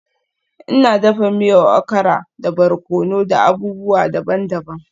Ina dafa miyar okara da barkono da abubuwa daban-daban.